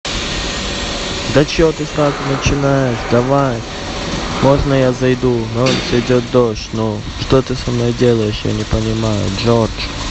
да что ты сразу начинаешь давай можно я зайду на улице идет дождь ну что ты со мной делаешь я не понимаю джордж